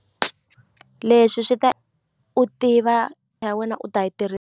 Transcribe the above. Leswi swi ta ku tiva u ta yi .